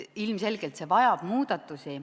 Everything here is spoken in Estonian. Ilmselgelt vajab see muudatusi.